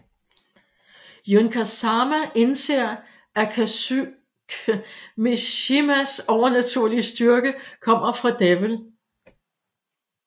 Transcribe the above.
Jun Kazama indser at Kazuya Mishimas overnaturlige styrke kommer fra Devil